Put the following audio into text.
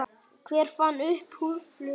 Hver fann upp húðflúr?